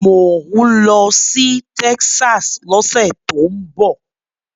Mò ń lọ sí Texas lọ́sẹ̀ tó ń bọ̀.